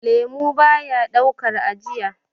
lemo baya daukar ajiya